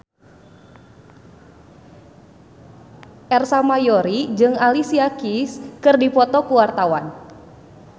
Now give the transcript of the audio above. Ersa Mayori jeung Alicia Keys keur dipoto ku wartawan